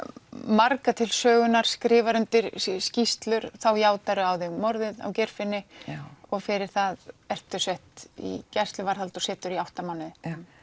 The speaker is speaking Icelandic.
marga til sögunnar skrifar undir skýrslur þá játar þú á þig morðið á Geirfinni og fyrir það ertu sett í gæsluvarðhald og situr í átta mánuði já